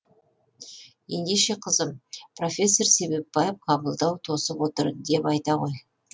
ендеше қызым профессор себепбаев қабылдау то сып отыр деп айта ғой